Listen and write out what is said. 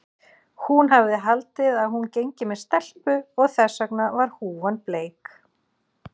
Hún hafði haldið að hún gengi með stelpu og þess vegna var húfan bleik.